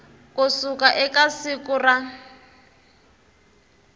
ku suka eka siku ra